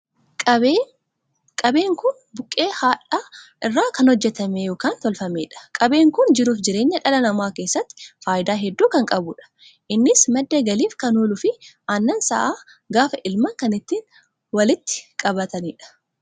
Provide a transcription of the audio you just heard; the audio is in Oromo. Qabeen kun qabeen buqqee hadha'aa irraa kan hojjetame ykn tolfameedha. qabeen kun jiruu fi jireenya dhala namaa keessatti faayidaa hedduu kan qabuudha. innis madda galiif kan ooluu fi annan sa'aa gaafa elman kan ittiin walitti qabataniidha.